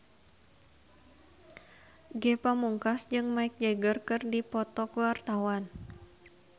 Ge Pamungkas jeung Mick Jagger keur dipoto ku wartawan